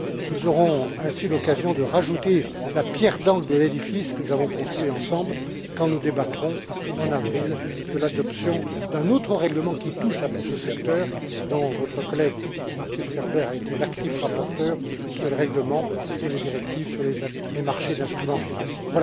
Nous aurons l'occasion de rajouter une pierre d'angle à l'édifice que nous avons construit ensemble quand nous débattrons, en avril, de l'adoption d'un autre règlement qui touche à tout ce secteur, dont votre collègue Markus Ferber a été l'actif rapporteur pour les règlements et les directives sur les marchés d'instruments financiers.